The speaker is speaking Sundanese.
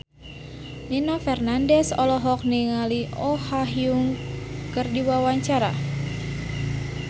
Nino Fernandez olohok ningali Oh Ha Young keur diwawancara